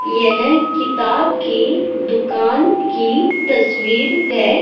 यहं किताब की दुकान की तस्वीर हैं।